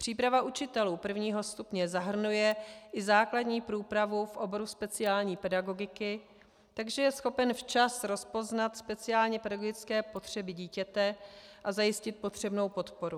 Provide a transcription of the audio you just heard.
Příprava učitelů prvního stupně zahrnuje i základní průpravu v oboru speciální pedagogiky, takže je schopen včas rozpoznat speciálně pedagogické potřeby dítěte a zajistit potřebnou podporu.